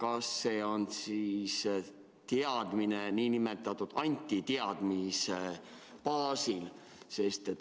On see siis teadmine nn antiteadmise baasil?